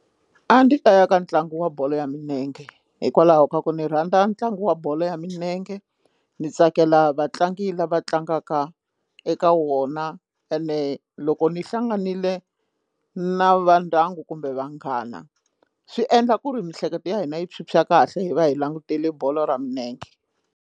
A ndi ta ya ka ntlangu wa bolo ya minenge hikwalaho ka ku ni rhandza ntlangu wa bolo ya milenge ndzi tsakela vatlangi lava tlangaka eka wona ene loko ni hlanganile na va ndyangu kumbe vanghana swi endla ku ri miehleketo ya hina yi phyuphya kahle hi va hi langutile bolo ra milenge.